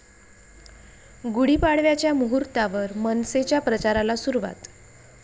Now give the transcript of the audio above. गुढीपाडव्याच्या मुहूर्तावर मनसेच्या प्रचाराला सुरुवात